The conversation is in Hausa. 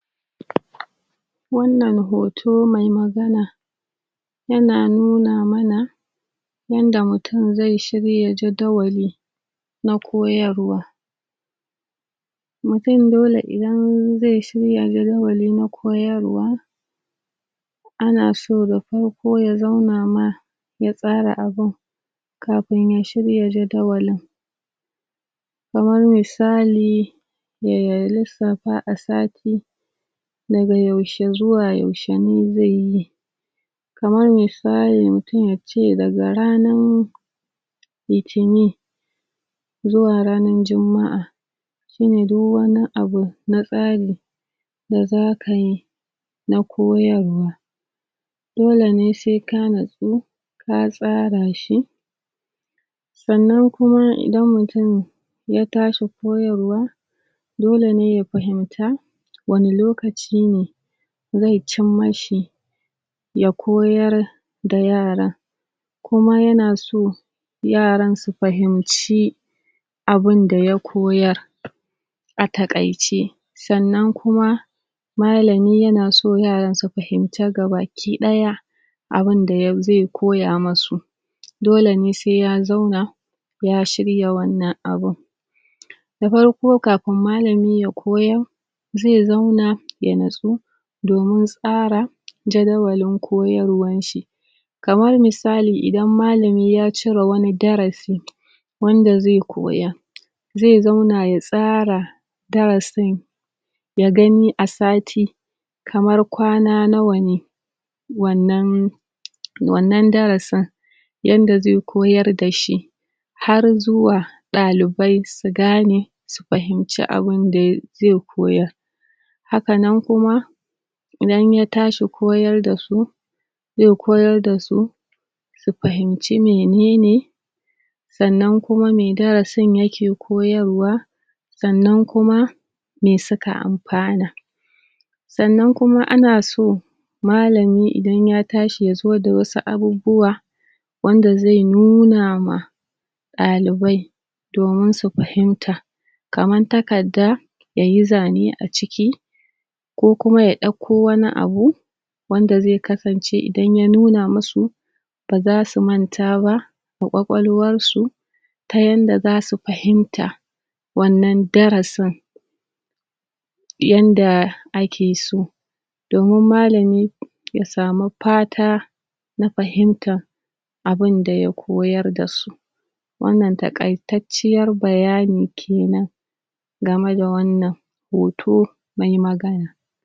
? Wannan hoto mai magana,? ya na nuna mana,? yanda mutum zai shirya jadawali,? na koyarwa.? Mutum dole idan zai shirya jadawali na koyarwa,? ana so da farko ya zauna ma,? ya tsara abun,? kafin ya shirya jadawalin.? Kamar misali,? ya lissafa a sati,? daga yaushe zuwa yaushe ne zaiyi.? Kamar misalin, mutum ya ce daga ranar,? litinin,? zuwa ranar juma'a,? shi ne duk wani abu na tsari,? da za ka yi,? na koyarwa.? Dole ne sai ka natsu,? ka tsara shi.? Sannan kuma idan mutum,? ya tashi koyarwa,? dole ne ya fahimta,? wane lokaci ne,? zai cimma shi,? ya koyar,? da yara?? Kuma ya na so,? yaran su fahinci,? abunda ya koyar,? a taƙaice.? Sannan kuma? malami ya na so yaran su fahimce gabaki ɗaya,? abunda ya, zai koya mu su.? Dole ne sai ya zauna,? ya shirya wannan abun.? Da farko kafin malami ya koyar,? zai zauna ya natso,? domin tsara, jadawalin koyarwan shi.? Kamar misali idan malami ya cire wani darasin,? wanda zai koyar,? zai zauna ya tsara,? darasin,? ya gani a sati,? kamar kwana nawa ne,? wannan,? wannan darasin,? yadda zai koyar da shi,? har zuwa, ɗalibai su gane, su fahinci abunda, zai koyar?? Hakanan kuma,? idan ya tashi koyar da su,? zai koyar da su,? su fahinci menene,? sannan kuma mai darasin ya ke koyarwa,? sannan kuma,? me suka amfana?? Sannan kuma a na so,? malami idan ya tashi ya zo da wasu abubuwa,? wanda zai nuna ma,? ɗalibai,? domin su fahimta.? Kamar takarda,? ya yi zane a ciki,? ko kuma ya ɗauko wani abu,? wanda zai kasance idan ya nuna musu,? baza su manta ba,? da ƙwaƙwalwar su,? ta yadda za su fahimta,? wannan darasin,? yanda a ke so.? Domin malami? ya samu fata,? na fahintar,? abunda ya koyar da su.? Wannan taƙaitacciyar bayani kenan,? game da wannan,? hoto, mai magana.?